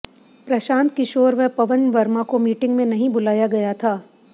प्रशांत किशोर व पवन वर्मा को मीटिंग में नहीं बुलाया गया था